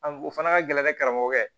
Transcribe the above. An o fana ka gɛlɛn ni karamɔgɔkɛ